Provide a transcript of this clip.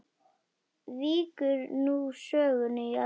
Víkur nú sögunni í eldhús.